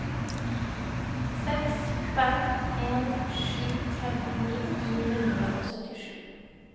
seks fem en sju femtini ni hundre og syttisju